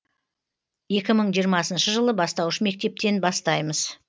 екі мың жиырмасыншы жылы бастауыш мектептен бастаймыз